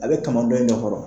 A bɛ kaman dɔn in ɲakɔrɔ